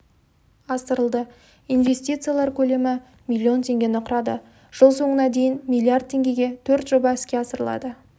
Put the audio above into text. асырылды инвестициялар көлемі миллион теңгені құрады жыл соңына дейін миллиард теңгеге төрт жоба іске асырылады